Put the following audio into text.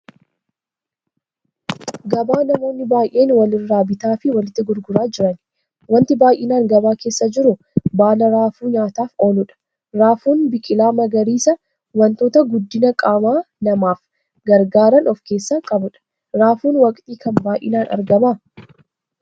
Gabaa namoonni baay'een walirraa bitaa fi walitti gurguraa jiran. Wanti baay'inaan gabaa keessa jiru baala raafuu nyaataaf ooluudha. Raafuun biqilaa magariisa wantoota guddina qaama namaaf gargaaraan of-keessaa qabudha. Raafuun waqtii kam baay'inaan argama?